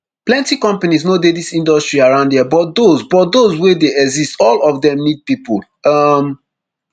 plenty companies no dey dis industry around here but those but those wey dey exist all of dem need pipo um